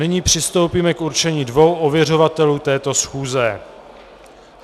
Nyní přistoupíme k určení dvou ověřovatelů této schůze.